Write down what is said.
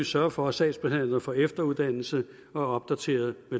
sørge for at sagsbehandlerne får efteruddannelse og er opdaterede på